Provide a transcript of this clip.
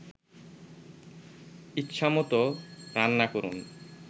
ইচ্ছামতো রান্না করুন